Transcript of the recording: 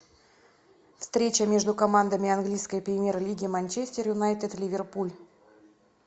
встреча между командами английской премьер лиги манчестер юнайтед ливерпуль